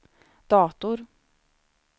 dator